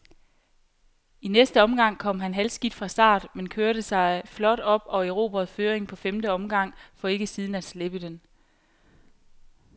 I næste omgang kom han halvskidt fra start, men kørte sig flot op og erobrede føringen på femte omgang, for ikke siden at slippe den.